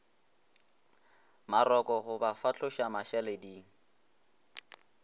maroko go ba fahloša mašaleding